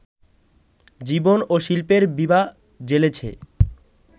জীবন ও শিল্পের বিভা জ্বেলেছে